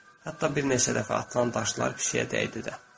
Hətta bir neçə dəfə atılan daşlar pişiyə dəydi də.